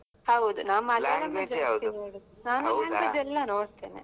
ಹೌದು. ನಾನ್ ಜಾಸ್ತಿ ನೋಡುದ್. ನಾನ್ language ಎಲ್ಲ ನೋಡ್ತೇನೆ.